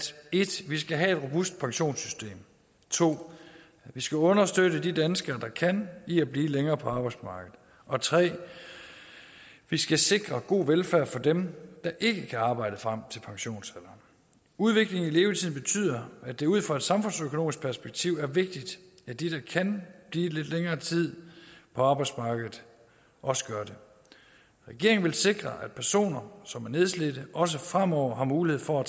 vi skal have et robust pensionssystem 2 at vi skal understøtte de danskere der kan i at blive længere på arbejdsmarkedet og 3 at vi skal sikre god velfærd for dem der ikke kan arbejde frem til pensionsalderen udviklingen i levetiden betyder at det ud fra et samfundsøkonomisk perspektiv er vigtigt at de der kan blive lidt længere tid på arbejdsmarkedet også gør det regeringen vil sikre at personer som er nedslidte også fremover har mulighed for